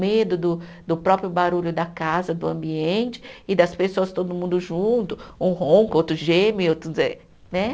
Medo do do próprio barulho da casa, do ambiente e das pessoas todo mundo junto, um ronca, outro geme outro, né?